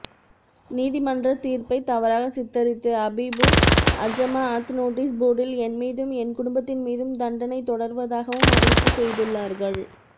நீதிமன்றத் தீர்ப்பைத் தவறாகச் சித்தரித்து அபீமுஅஜமாஅத் நோட்டீஸ் போர்டில் என்மீதும் என் குடும்பத்தின் மீதும் தண்டனை தொடர்வதாகவும் அறிவிப்பு செய்துள்ளார்கள்